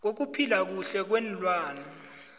bokuphila kuhle kweenlwana